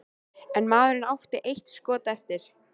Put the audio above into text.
En maðurinn átti eitt skot eftir.